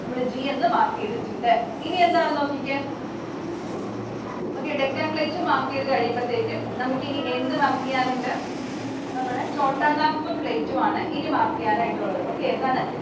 നമ്മൾ G എന്ന് mark ചെയ്‌തിട്ടുണ്ട്‌. ഇനി എന്താണെന്ന് നോക്കിക്കേ. Okay. Deccan Plateau നെ mark ചെയ്തു കഴിയുമ്പോത്തേക്കും നമുക്ക് ഇനി എന്ത് mark ചെയ്യാനുണ്ട്? നമ്മുടെ Chotanagpur Plateau ആണ് ഇനി mark ചെയ്യാനായിട്ടുള്ളത്.